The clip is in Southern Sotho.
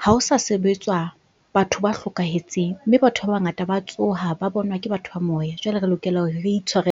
ha o sa sebetswa batho ba hlokahetseng mme batho ba bangata ba tsoha, ba bonwa ke batho ba moya. Jwale re lokela hore re .